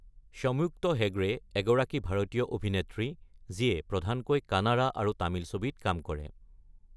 সম্যুক্ত হেগড়ে এগৰাকী ভাৰতীয় অভিনেত্ৰী যিয়ে প্ৰধানকৈ কানাড়া আৰু তামিল ছবিত কাম কৰে।